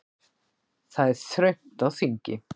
Það er þröngt á þingi